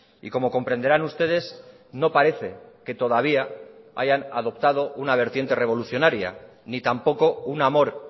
y como comprenderán ustedes no parece que todavía hayan adoptado una vertiente revolucionaria ni tampoco un amor